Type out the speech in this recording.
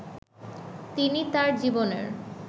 তিনি তার জীবনের